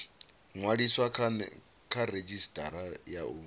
ṅwaliswa kha redzhisitara ya u